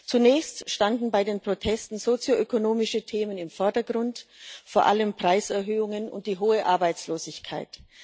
Zunächst standen bei den Protesten sozioökonomische Themen im Vordergrund, vor allem Preiserhöhungen und die hohe Arbeitslosigkeit.